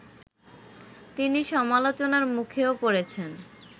তিনি সমালোচনার মুখেও পড়েছেন